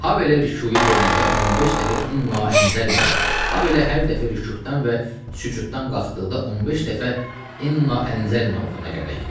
Habelə rükuya gedəndə 15 dəfə "İnna ənzəlnahu", habelə hər dəfə rükudən və sücuddan qalxdıqda 15 dəfə "İnna ənzəlnahu" oxuna gərək.